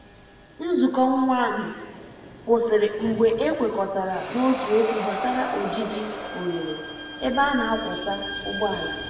Nzuko nwa nụ kwụsịrị mgbe e kwekọtara n’otu okwu gbasara ojiji oghere ebe a n'akwọsa ụgbọala.